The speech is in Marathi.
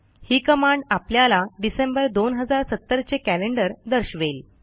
ही कमांड आपल्याला डिसेंबर 2070 चे कॅलेंडर दर्शवेल